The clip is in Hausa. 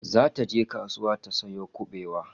Zata je kasuwa ta sayo kubewa